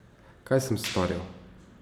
Kaj sem storil?